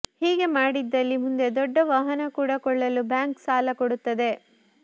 ಹೀಗೆ ಮಾಡಿದಲ್ಲಿ ಮುಂದೆ ದೊಡ್ಡ ವಾಹನ ಕೂಡಾ ಕೊಳ್ಳಲು ಬ್ಯಾಂಕ್ ಸಾಲ ಕೊಡುತ್ತದೆ